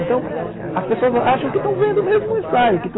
Então, as pessoas acham que estão vendo mesmo o ensaio.